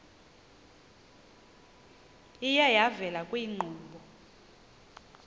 iye yavela kwiinkqubo